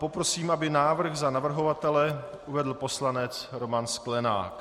Poprosím, aby návrh za navrhovatele uvedl poslanec Roman Sklenák.